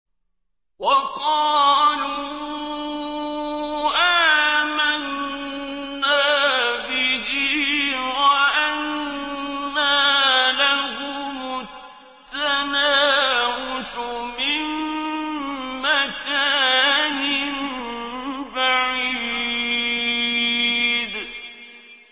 وَقَالُوا آمَنَّا بِهِ وَأَنَّىٰ لَهُمُ التَّنَاوُشُ مِن مَّكَانٍ بَعِيدٍ